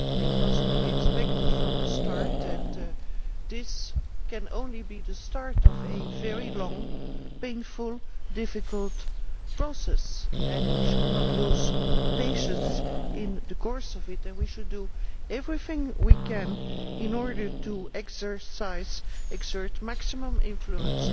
It was to be expected from the outset that this can only be the start of a very long, painful, difficult process and we should not lose patience in the course of it. We should do everything we can to exert maximum influence